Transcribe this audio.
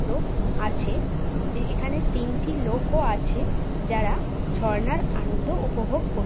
ক্র আছে যে এখানে তিনটি লোক ও আছে যারা ঝর্ণার আনন্দ উপভোগ কর--